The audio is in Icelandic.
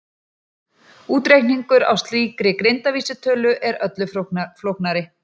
Útreikningur á slíkri greindarvísitölu er öllu flóknari.